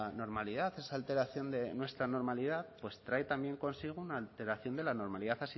normalidad esa alteración de nuestra normalidad pues trae también consigo una alteración de la normalidad